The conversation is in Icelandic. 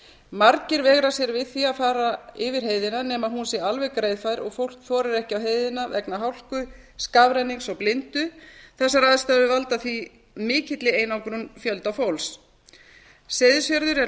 margir veigra sér við því að fara yfir heiðina nema hún sé alveg greiðfær og fólk þorir ekki á heiðina vegna hálku skafrennings og blindu þessar aðstæður valda því mikilli einangrun fyrir fjölda fólks seyðisfjörður er landamærabær og